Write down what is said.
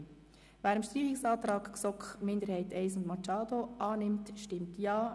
Wer dem Streichungsantrag GSoK-Minderheit I und Machado annimmt, stimmt Ja.